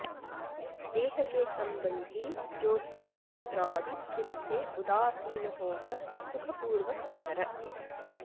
देह के संबंधी जोस्त्रीपुत्रादि तिन से उदासीन होकर सुखपूर्वक विचर